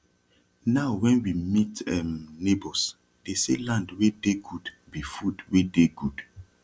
now wen we meet um neighbours dey say land wey dey gud be food wey dey gud